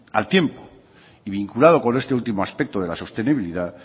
al tiempo vinculado con este último aspecto de la sostenibilidad